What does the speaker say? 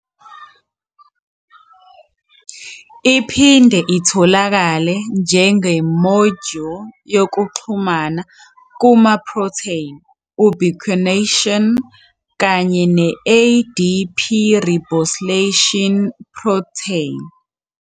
Iphinde itholakale njengemodyuli yokuxhumana kuma- protein ubiquination kanye ne-ADP ribosylation protein.